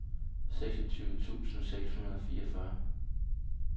seksogtyve tusind seks hundrede og fireogfyrre